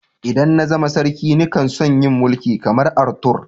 ldan na zama sarki ni kan so'n yi Mulki kamar Arthur.